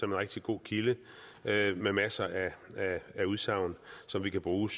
en rigtig god kilde med masser af udsagn som vi kan bruge